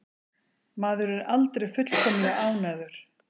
Maður er aldrei fullkomlega ánægður.